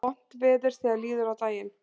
Vont veður þegar líður á daginn